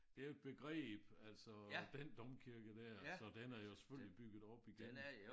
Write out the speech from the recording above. Det jo et begreb altså den domkirke der så den er jo selvfølgelig bygget op igen